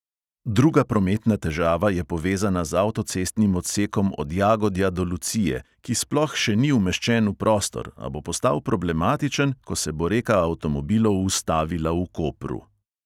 Druga prometna težava je povezana z avtocestnim odsekom od jagodja do lucije, ki sploh še ni umeščen v prostor, a bo postal problematičen, ko se bo reka avtomobilov ustavila v kopru.